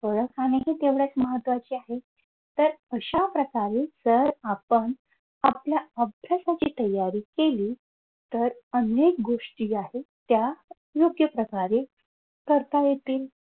ओळख आणि हि तेवढेच महत्वाचे आहेत तर अशा प्रकारे जर आपण आपल्या अभ्यासाची तयारी केली तर अनेक गोष्टी आहेत त्या योग्य प्रकारे करता येतील